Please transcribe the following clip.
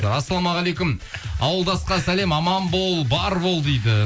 ассалаумағалейкум ауылдасқа сәлем аман бол бар бол дейді